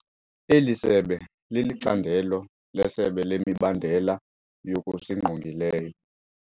Eli sebe lilicandelo leSebe lemiBandela yokusiNgqongileyo.